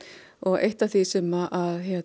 og eitt af því sem